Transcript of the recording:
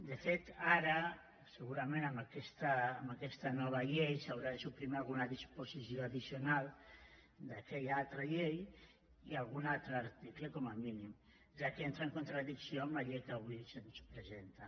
de fet ara segurament amb aquesta nova llei s’haurà de suprimir alguna disposició addicional d’aquella altra llei i algun altre article com a mínim ja que entra en contradicció amb la llei que avui se’ns presenta